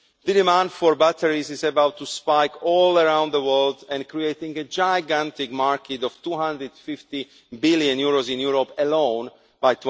The demand for batteries is about to spike all around the world and create a gigantic market worth EUR 250 billion in Europe alone by